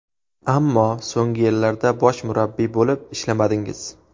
Ammo so‘nggi yillarda bosh murabbiy bo‘lib ishlamadingiz.